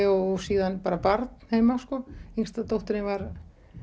og síðan bara barn heima yngsta dóttirin var